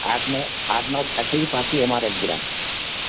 পাশেই গ্রাম